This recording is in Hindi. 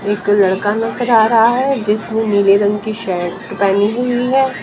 एक लड़का नजर आ रहा है जिसने नीले रंग की शर्ट पहनी हुई है।